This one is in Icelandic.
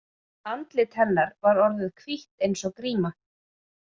Andlit hennar var orðið hvítt eins og gríma.